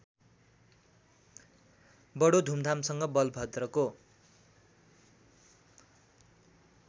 बडो धूमधामसँग बलभद्रको